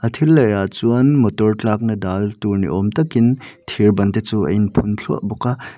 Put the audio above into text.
thil laih ah chuan motor tlakna dal tur niawm takin thir ban te chu a in phun thluah bawk a.